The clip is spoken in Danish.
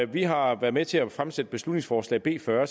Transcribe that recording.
vi har været med til at fremsætte beslutningsforslag b fyrre